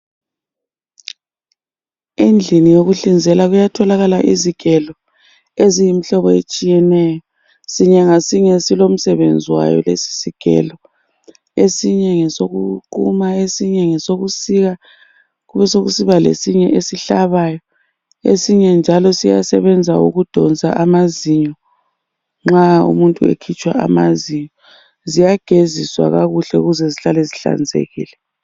Endlini yokuhlinzela kuyatholakala izigelo eziyimihlobo etshiyeneyo, sinye ngasinye silomsebenzi wayo lesi sigelo esinyengesokuquma esinye ngesokusika kubesokusiba lesinye esihlabayo esinye njalo siyasebenza ukudonsa amazinyo nxa umuntu ekhitshwa amazinyo. Ziyageziswa kakuhle ukuze zihlale zihlanzekile